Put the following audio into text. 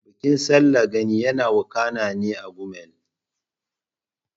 Bikin Sallar Gani yana wakana ne a Gumel.